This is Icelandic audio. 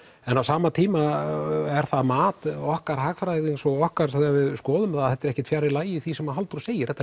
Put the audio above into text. en á sama tíma er það mat okkar hagfræðings og okkar þegar við skoðum það að þetta er ekkert fjarri lagi því sem Halldór segir þetta